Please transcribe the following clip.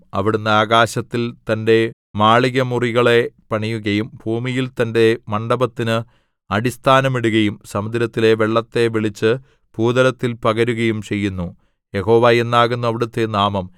അവിടുന്ന് ആകാശത്തിൽ തന്റെ മാളികമുറികളെ പണിയുകയും ഭൂമിയിൽ തന്റെ മണ്ഡപത്തിന് അടിസ്ഥാനം ഇടുകയും സമുദ്രത്തിലെ വെള്ളത്തെ വിളിച്ച് ഭൂതലത്തിൽ പകരുകയും ചെയ്യുന്നു യഹോവ എന്നാകുന്നു അവിടുത്തെ നാമം